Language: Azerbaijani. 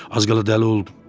Az qala dəli oldum.